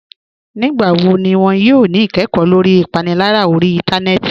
Nígbàwọ́ ní wọn yóò ní ìkẹ́kọ̀ lórí ìpànìlárà orí ìntánẹnẹ́tì?